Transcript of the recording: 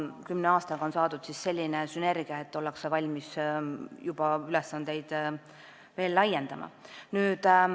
Kümne aastaga on saadud selline sünergia, et ollakse valmis ülesandeid veel laiendama.